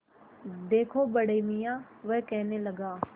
देखो बड़े मियाँ वह कहने लगा